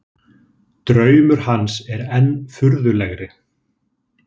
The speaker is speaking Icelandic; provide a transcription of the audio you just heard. Draumur hans er enn furðulegri.